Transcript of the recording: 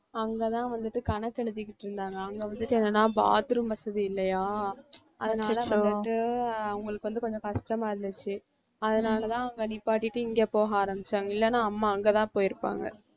அங்க தான் வந்துட்டு கணக்கு எழுதிகிட்ருந்தாங்க அங்க வந்துட்டு என்னன்னா bathroom வசதி இல்லையா அதனால வந்துட்டு அவங்களுக்கு வந்துட்டு கொஞ்சம் கஷ்டமா இருந்துச்சு அதனால தான் அங்க நிப்பாட்டிட்டு இங்க போக ஆரம்பிச்சாங்க இல்லனா அம்மா அங்க தான் போயிருப்பாங்க